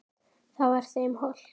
Það var þeim hollt.